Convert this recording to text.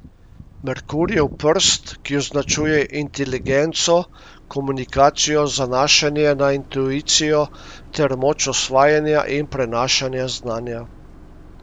Merkurjev prst, ki označuje inteligenco, komunikacijo, zanašanje na intuicijo ter moč osvajanja in prenašanja znanja.